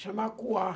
chama acuar.